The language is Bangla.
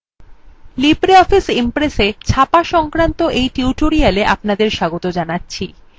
libreoffice impressa ছাপা সংক্রান্ত tutorial আপনাদের স্বাগত জানাচ্ছি